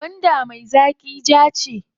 Gwanda me zaƙi jaa ce a ciki.